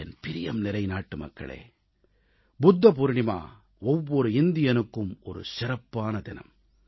என் பிரியம்நிறை நாட்டுமக்களே புத்த பவுர்ணமி ஒவ்வொரு இந்தியனுக்கும் ஒரு சிறப்பான தினம்